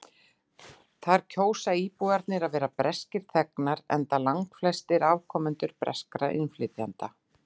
þar kjósa íbúarnir að vera breskir þegnar enda langflestir afkomendur breskra innflytjenda